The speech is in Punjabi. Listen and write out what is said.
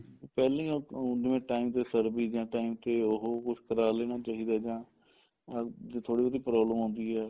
ਪਹਿਲਾਂ ਹੀ ਉਹ ਜਿਵੇਂ time ਤੇ service ਜਾਂ time ਤੇ ਉਹ ਕੁੱਛ ਕਰ ਲੈਣਾ ਚਾਹੀਦਾ ਜਾਂ ਜੇ ਥੋੜੀ ਜੀ problem ਆਉਂਦੀ ਹੈ